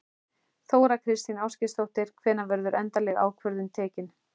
Þóra Kristín Ásgeirsdóttir: Hvenær verður endaleg ákvörðun tekin?